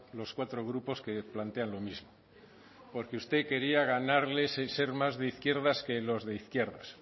los cuatro grupos que plantean lo mismo porque usted quería ganarle y ser más de izquierdas que los de izquierdas